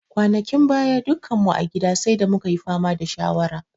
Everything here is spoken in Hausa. Kwanakin baya, dukkan mu a gida sai da mu ka yi fama da shawara.